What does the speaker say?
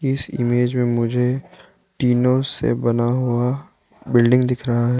इस इमेज में मुझे टीनों से बना हुआ बिल्डिंग दिख रहा है।